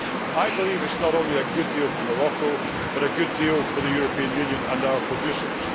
I believe it is not only a good deal for Morocco, but a good deal for the European Union and our producers.